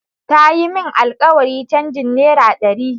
Ta yi min alkawarin changin naira dari.